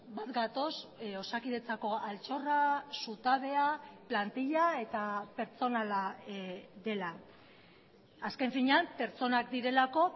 bat gatoz osakidetzako altxorra zutabea plantila eta pertsonala dela azken finean pertsonak direlako